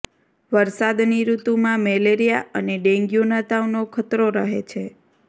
વરસાદની ઋતુમાં મેલેરિયા અને ડેન્ગ્યુના તાવનો ખતરો રહે છે